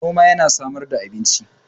noman yana samar da abinci